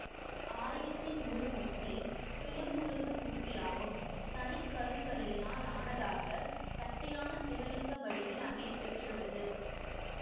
ஆலயத்தின் மூலமூர்த்தி சுயம்புருவ மூர்த்தியாகும் தனி கருங்கல்லினால் ஆனதாக தட்டையான சிவலிங்க வடிவில் அமைய பெற்றுள்ளது